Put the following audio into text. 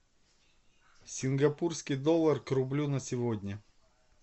сингапурский доллар к рублю на сегодня